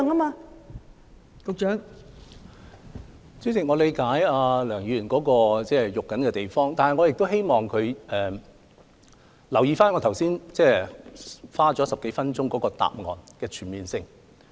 代理主席，我理解梁議員關注的原因，但我亦希望她留意我剛才花了10多分鐘所作答覆的全面性。